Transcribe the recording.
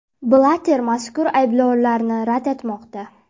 Blatter mazkur ayblovlarni rad etmoqda.